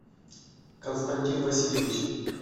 константин васильевич